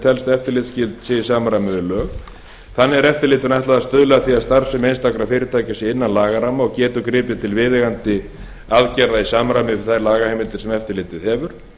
telst eftirlitsskyld sé í samræmi við lög þannig er eftirlit ætlað að stuðla að því að starfsemi einstakra fyrirtækja sé innan lagaramma og getur gripið til viðeigandi aðgerða í samræmi við þær lagaheimildir sem eftirlitið hefur